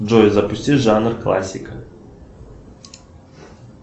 джой запусти жанр классика